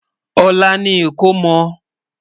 olá ní ikọ̀mò